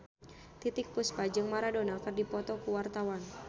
Titiek Puspa jeung Maradona keur dipoto ku wartawan